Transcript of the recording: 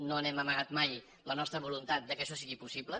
no hem amagat mai la nostra voluntat que això sigui possible